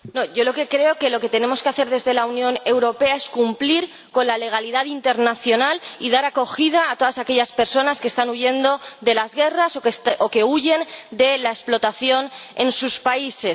No, yo lo que creo es que lo que tenemos que hacer en la Unión Europea es cumplir con la legalidad internacional y dar acogida a todas aquellas personas que están huyendo de las guerras o que huyen de la explotación en sus países.